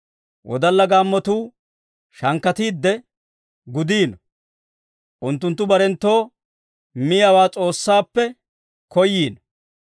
Wodalla gaammotuu shankkatiidde gudiino; unttunttu barenttoo miyaawaa S'oossaappe koyiino.